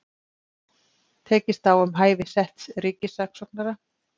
Tekist á um hæfi setts ríkissaksóknara